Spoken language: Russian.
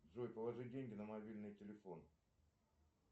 джой положи деньги на мобильный телефон